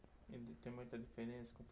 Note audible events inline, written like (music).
(unintelligible) Tem muita diferença com o